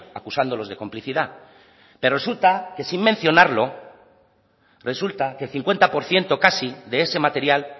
acusándolos de complicidad pero resulta que sin mencionarlo resulta que el cincuenta por ciento casi de ese material